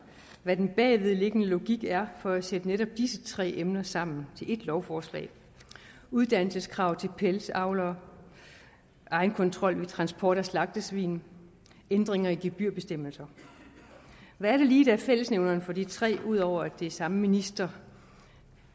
hvad den bagvedliggende logik er for at sætte netop disse tre emner sammen til ét lovforslag uddannelseskrav til pelsdyravlere egenkontrol ved transport af slagtesvin ændringer i gebyrbestemmelser hvad er det lige der er fællesnævneren for de tre ud over at det er samme minister